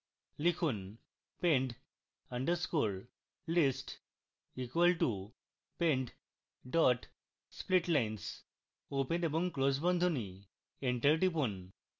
লিখুন pend _ list equal to pend dot splitlines open এবং close বন্ধনী